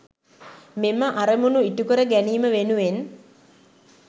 මෙම අරමුණු ඉටු කර ගැනීම වෙනුවෙන්